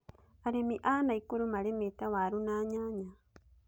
arĩmi a Nakuru marĩmĩte warũ na nyanya